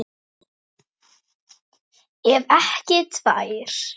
Ef ekki tvær.